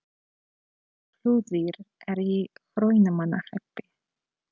Flúðir er í Hrunamannahreppi.